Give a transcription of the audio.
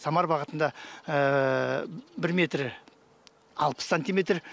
самар бағытында бір метр алпыс сантиметр